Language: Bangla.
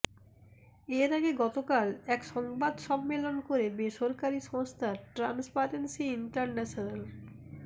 এর আগে গতকাল এক সংবাদ সম্মেলন করে বেসরকারী সংস্থা ট্রান্সপারেন্সী ইন্টারন্যাশনাল